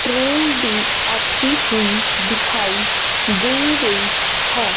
Train भी आती हुई दिखाई दे रही है।